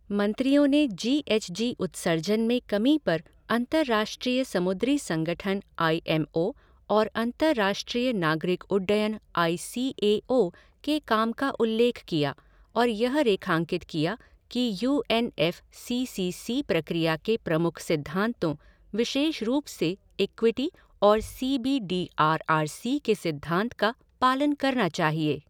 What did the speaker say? मंत्रियों ने G H G उत्सर्जन में कमी पर अंतर्राष्ट्रीय समुद्री संगठन आई एम ओ और अंतर्राष्ट्रीय नागरिक उड्डयन आई सी ए ओ के काम का उल्लेख किया और यह रेखांकित किया कि U N F C C C प्रक्रिया के प्रमुख सिद्धांतों, विशेष रूप से इक्विटी और C B D R R C के सिद्धांत का, पालन करना चाहिए।